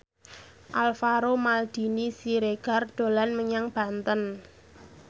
Alvaro Maldini Siregar dolan menyang Banten